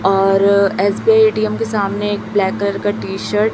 और SBI ATM के सामने एक ब्लैक कलर की टी शर्ट --